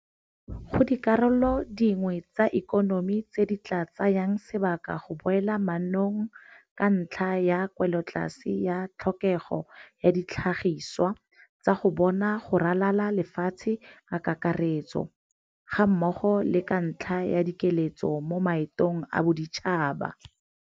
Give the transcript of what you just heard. Go dikarolo dingwe tsa ikonomi tse di tla tsayang sebaka go boela mannong ka ntlha ya kwelotlase ya tlhokego ya ditlhagisiwa tsa bona go ralala lefatshe ka kakaretso, gammogo le ka ntlha ya dikiletso mo maetong a boditšhaba.